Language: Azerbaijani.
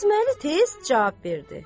Qasıməli tez cavab verdi.